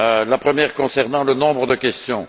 La première concernait le nombre de questions.